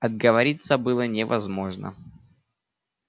отговориться было невозможно